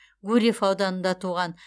гурьев ауданында туған